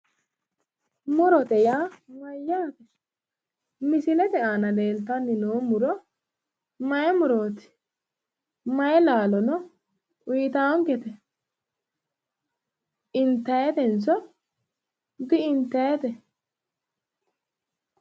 Murote yaa mayyaate misilete aana leeltanni nooti mayi murooti mayi laalono uyiitaankete intannitenso di intannite.